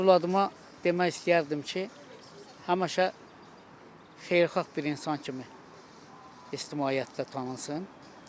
Övladıma demək istəyərdim ki, həmişə xeyirxah bir insan kimi ictimaiyyətdə tanınsın.